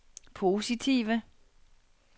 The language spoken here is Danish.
positive